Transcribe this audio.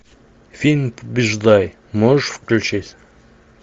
фильм побеждай можешь включить